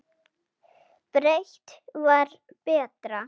Breitt var betra.